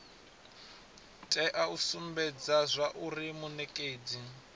tea u sumbedza zwauri munekedzi